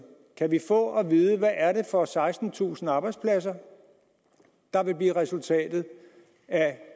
kan vi få at vide hvad er det for sekstentusind arbejdspladser der vil blive resultatet af